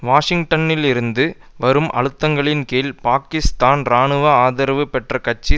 வாஷிங்டனிலிருந்து வரும் அழுத்தங்களின் கீழ் பாக்கிஸ்தான் இராணுவ ஆதரவு பெற்ற ஆட்சி